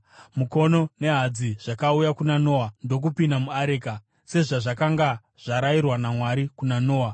mukono nehadzi, zvakauya kuna Noa ndokupinda muareka, sezvakanga zvarayirwa naMwari kuna Noa.